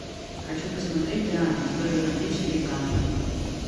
хочу посмотреть диана история любви четыре ка